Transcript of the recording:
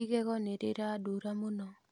Igego nĩ rĩrandura mũno